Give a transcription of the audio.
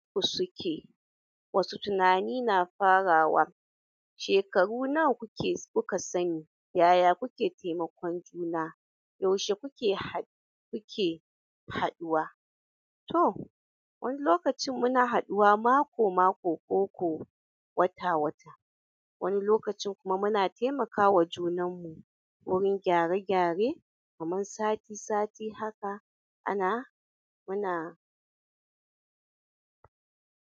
Ku suke wasu tunani na farawa. Shekaru nawa kuke kuka sani? Yaya kuke taimakon juna? Yaushe kuke haɗ- kuke haɗuwa? To wani lokacin muna haduwa mako-mako ko ko wata-wata. Wani lokacin kuma muna taimakawa junan mu wurin gyare-gyare kaman sati-sati haka ana muna.